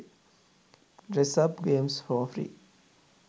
dress up games for free